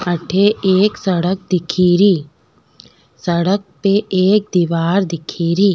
अठ एक सड़क दिख री सड़क पे एक दिवार दिख री।